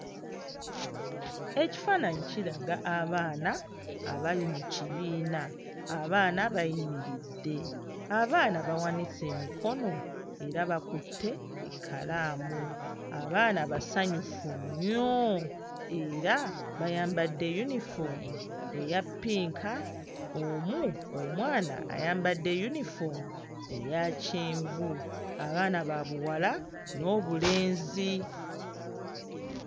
Ekifaananyi kiraga abaana abali mu kibiina abaana bayimiridde abaana bawanise emikono era bakutte ekkalaamu. Abaana basanyufu nnyo era bayambadde yunifoomu eya ppinka; omu omwana ayabadde yunifoomu eya kyenvu. Abaana ba buwala n'obulenzi.